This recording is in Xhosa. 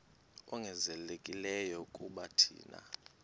ongezelelekileyo kuba thina